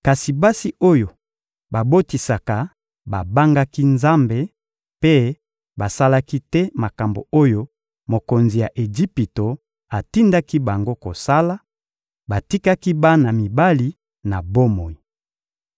Kasi basi oyo babotisaka babangaki Nzambe mpe basalaki te makambo oyo mokonzi ya Ejipito atindaki bango kosala; batikaki bana mibali na bomoi.